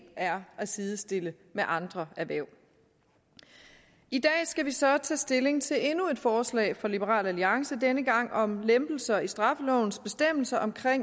er at sidestille med andre erhverv i dag skal vi så tage stilling til endnu et forslag fra liberal alliance denne gang om lempelser i straffelovens bestemmelser om